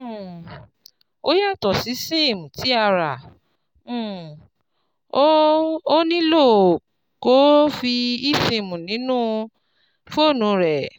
um Ó yàtọ̀ sí SIM ti ara, um o ò nílò kó o fi eSIM sínú fóònù rẹ